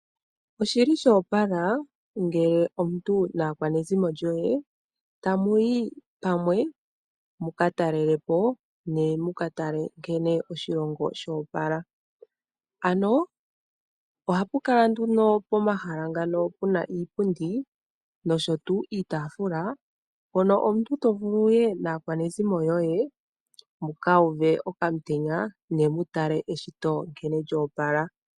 Oshili shoopala ngele omuntu naakwanezimo lyoye tamu yi pamwe muka talelepo nemukatale nkene oshilongo shoopala. Pomahala ngano ohapu kala puna iipundi niitaafula hono omuntu tovulu wuye naakwanezimo lyoye muka uve okamutenya ne mutale nkene eshito lyoopala.